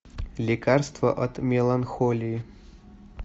лекарство от меланхолии